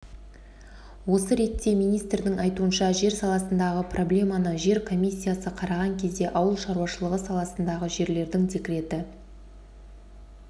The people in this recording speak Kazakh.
осы ретте министрдің айтуынша жер саласындағы проблеманы жер комиссиясы қараған кезде ауыл шаруашылығы саласындағы жерлердің деректі